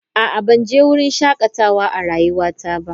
A'a, ban je wurin shakatawa a rayuwata ba.